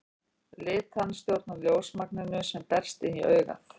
Litan stjórnar ljósmagninu sem berst inn í augað.